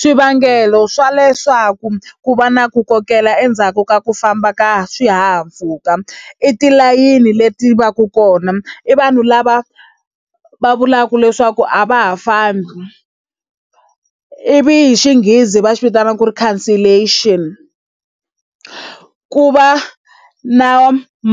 Swivangelo swa leswaku ku va na ku kokela endzhaku ka ku famba ka swihahampfhuka, i tilayini leti va ka kona, i vanhu lava va vulaka leswaku a va ha fambi, ivi hi Xinghezi va swi vitanaka ku ri cancellation. Ku va na